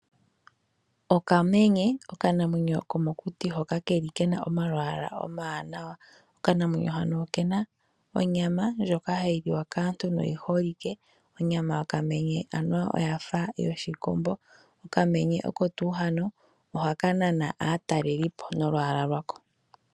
Okamenye okanamwenyo komokuti hoka ke na omalwaala omawanawa. Okanamwenyo hano oke na onyama ndjoka hayi liwa kaantu noyi holike. Onyama yokamenye anuwa oya fa yoshikombo. Okamenye oko tuu haka ohaka nana aatalelipo nolwaala lwako.